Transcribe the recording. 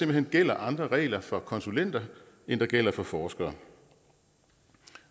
hen gælder andre regler for konsulenter end der gælder for forskere